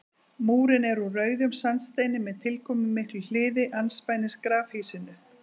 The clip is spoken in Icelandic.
Múrinn er úr rauðum sandsteini með tilkomumiklu hliði andspænis grafhýsinu.